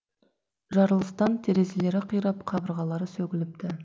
жарылыстан терзелері қирап қабырғалары сөгіліпті